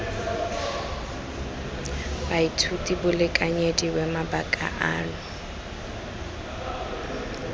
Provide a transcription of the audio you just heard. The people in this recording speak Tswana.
baithuti bo lekanyediwe mabaka ano